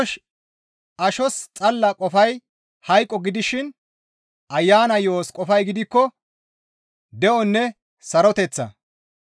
Ashos xalla qofay hayqo gidishin Ayana yo7os qofay gidikko de7onne saroteththa.